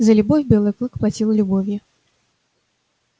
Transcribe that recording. за любовь белый клык платил любовью